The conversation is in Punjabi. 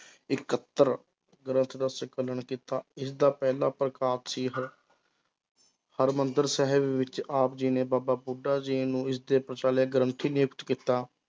ਇਕਤ੍ਰ ਗ੍ਰੰਥ ਦਾ ਸੰਕਲਨ ਕੀਤਾ, ਇਸਦਾ ਪਹਿਲਾ ਪ੍ਰਕਾਪ ਸੀ ਹ~ ਹਰਿਮੰਦਰ ਸਾਹਿਬ ਵਿੱਚ ਆਪ ਜੀ ਨੇ ਬਾਬਾ ਬੁੱਢਾ ਜੀ ਨੂੰ ਇਸਦੇ ਗ੍ਰੰਥੀ ਨਿਯੁਕਤ ਕੀਤਾ।